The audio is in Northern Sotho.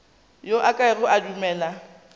yo a kego a dumele